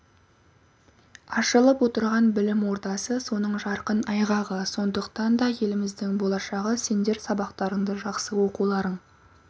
ашылып отырған білім ордасы соның жарқын айғағы сондықтан да еліміздің болашағы сендер сабақтарыңды жақсы оқуларың